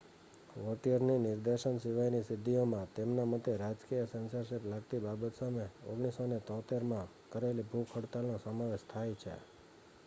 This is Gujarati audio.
વૉટિયરની નિર્દેશન સિવાયની સિદ્ધિઓમાં તેમના મતે રાજકીય સેન્સરશિપ લાગતી બાબત સામે 1973માં કરેલી ભૂખ હડતાલનો સમાવેશ થાય છે